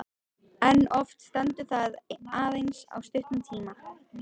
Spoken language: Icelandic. En oft stendur það aðeins í stuttan tíma.